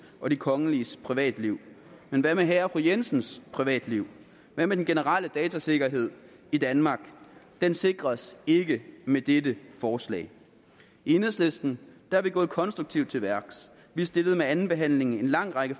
og de kongeliges privatliv men hvad med herre og fru jensens privatliv hvad med den generelle datasikkerhed i danmark den sikres ikke med dette forslag i enhedslisten er vi gået konstruktivt til værks vi stillede ved andenbehandlingen en lang række